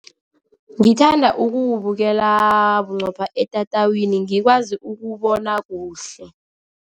Ngithanda ukuwubukela bunqopha etatawini, ngikwazi ukubona kuhle.